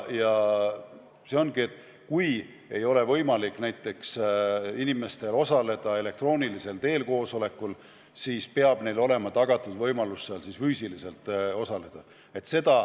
Kui ei ole võimalik inimestel osaleda koosolekul elektroonilisel teel, siis peab neile olema tagatud võimalus seal füüsiliselt osaleda.